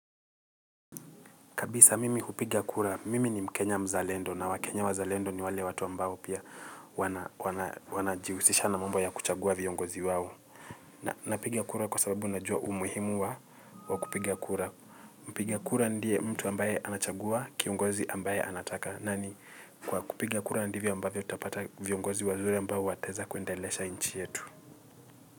Kabisa mimi hupiga kura, mimi ni mkenya mzalendo na wakenya wazalendo ni wale watu ambao pia wanajihusisha na mambo ya kuchagua viongozi wao. Na napiga kura kwa sababu najua umuhimu wa kupiga kura. Mpiga kura ndiye mtu ambaye anachagua kiongozi ambaye anataka. Nani, kwa kupiga kura ndivyo ambavyo tutapata viongozi wazuri ambao wataweza kuendelesha nchi yetu.